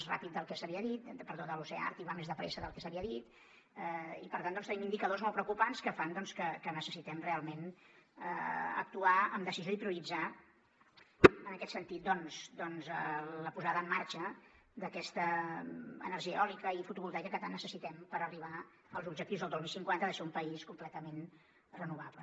és a dir el desgel de l’oceà àrtic va més de pressa del que s’havia dit i per tant doncs tenim indicadors molt preocupants que fan que necessitem realment actuar amb decisió i prioritzar en aquest sentit la posada en marxa d’aquesta energia eòlica i fotovoltaica que tant necessitem per arribar als objectius el dos mil cinquanta ha de ser un país completament renovable